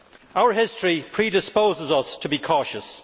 Our history predisposes us to be cautious.